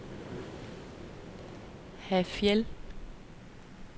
Hafjell